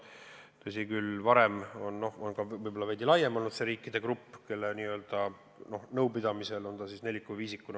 Tõsi küll, varem on võib-olla laiem olnud see riikide grupp, kelle omavahelisel nõupidamisel on neid valikuid kujundatud.